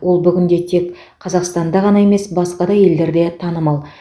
ол бүгінде тек қазақстанда ғана емес басқа да елдерде танымал